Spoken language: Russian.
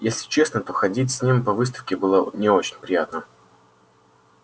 если честно то ходить с ним по выставке было не очень приятно